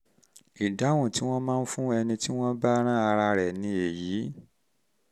ìdáhùn tí wọ́n máa ń fún ẹni tí wọ́n bá rán ara rẹ̀ ni èyí